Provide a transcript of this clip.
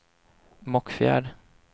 Mockfjärd